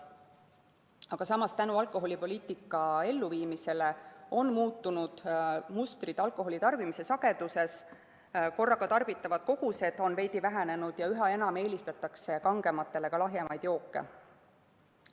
Aga samas, tänu alkoholipoliitika elluviimisele on muutunud mustrid alkoholitarbimise sageduses, korraga tarbitavad kogused on veidi vähenenud ja üha enam eelistatakse kangematele lahjemaid jooke.